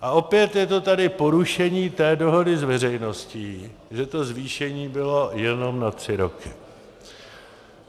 A opět je tady to porušení té dohody s veřejností, že to zvýšení bylo jenom na tři roky.